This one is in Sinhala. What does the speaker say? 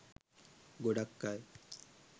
ගොඩක් අය